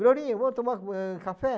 Glorinha, vamos tomar, ãh, café?